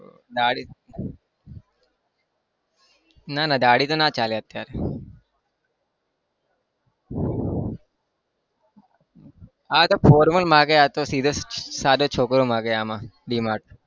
દાઢી ના ના દાઢી તો ના ચાલે અત્યારે આતો formal માંગે આતો સીધો સાધો છોકરો માંગે આમાં DMart